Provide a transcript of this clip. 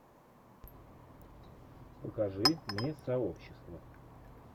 покажи мне сообщество